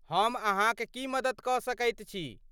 हम अहाँक की मदति कऽ सकैत छी?